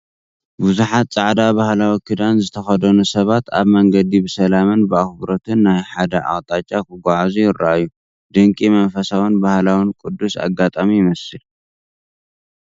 ብዙሓት ጻዕዳ ባህላዊ ክዳን ዝተኸድኑ ሰባት ኣብ መንገዲ ብሰላምን ብኣኽብሮትን ናብ ሓደ ኣቕጣጫ ክጓዓዙ ይረኣዩ፤ ድንቂ መንፈሳውን ባህላውን ቅዱስ ኣጋጣሚ ይመስል።